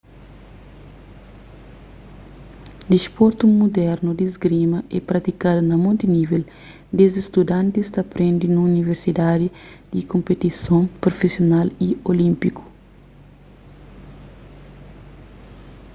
disportu mudernu di isgrima é pratikadu na monti nível desdi studantis ta prende nun universidadi ti konpetison prufisional y olínpiku